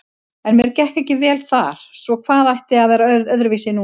En mér gekk ekki vel þar, svo hvað ætti að vera öðruvísi núna?